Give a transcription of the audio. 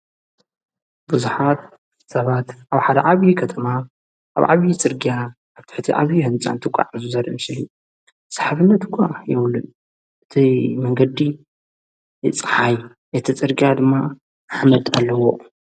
ብዙኃር ሰባት ኣብ ሓደ ዓብዪ ኸተማ ኣብ ዓብዪ ጽርጋያ ዓትሕቲ ዓብዪ ሕንፃንቲ ቋዕ እዙዘሪ ምስሊ ሰሓብነት ኳ የውሉን እቲ መንገዲ ይፀሓይ እቲ ጽርግያ ድማ ሓመድ ኣለዎ።